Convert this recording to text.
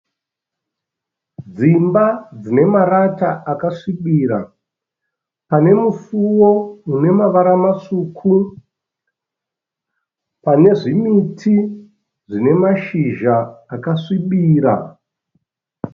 Dzimba dzinemarata akasvibira. Pane musiwo unemavara matsvuku. Pane zvimiti zvine mashizha akasvibira.